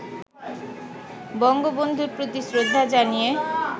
বঙ্গবন্ধুর প্রতি শ্রদ্ধা জানিয়ে